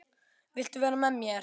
Viltu vera með mér?